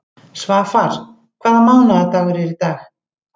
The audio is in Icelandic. Svafar, hvaða mánaðardagur er í dag?